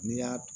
N'i y'a dun